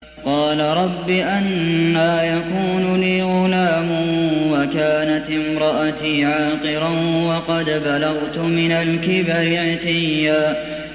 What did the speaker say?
قَالَ رَبِّ أَنَّىٰ يَكُونُ لِي غُلَامٌ وَكَانَتِ امْرَأَتِي عَاقِرًا وَقَدْ بَلَغْتُ مِنَ الْكِبَرِ عِتِيًّا